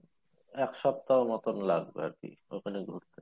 এক সপ্তাহ মতন লাগবে আরকি ওখানে ঘুরতে